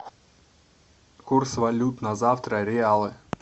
курс валют на завтра реалы